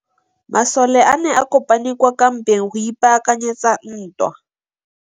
Masole a ne a kopane kwa kampeng go ipaakanyetsa ntwa.